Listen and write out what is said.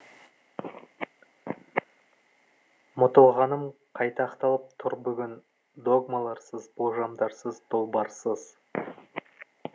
мұтылғаным қайта ақталып тұр бүгін догмаларсыз болжамдарсыз долбарсыз